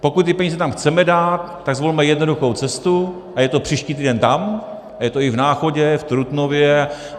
Pokud ty peníze tam chceme dát, tak zvolme jednoduchou cestu, a je to příští týden tam, je to i v Náchodě, v Trutnově.